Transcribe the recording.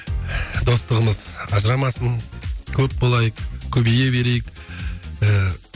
достығымыз ажырамасын көп болайық көбейе берейік ыыы